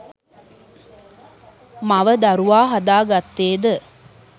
මව දරුවා හදා ගත්තේ ද